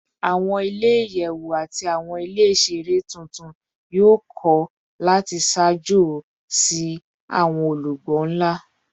Awọn ile-iyẹwu ati awọn ile iṣere tuntun yoo kọ lati ṣaajo si awọn olugbo nla